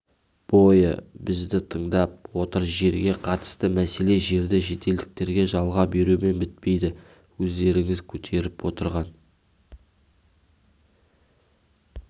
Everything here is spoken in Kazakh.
бойы бізді тыңдап отыр жерге қатысты мәселе жерді шетелдіктерге жалға берумен бітпейді өздеріңіз көтеріп отырған